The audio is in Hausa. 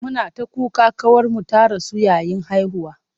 Muna ta kuka ƙawarmu ta rasu yayin haihuwa.